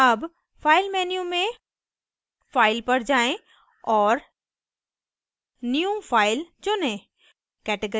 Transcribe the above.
अब file menu में file पर जाएँ और new file चुनें